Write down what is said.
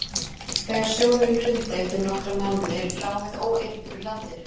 Þegar sjóðurinn hrundi eftir nokkra mánuði lá við óeirðum í landinu.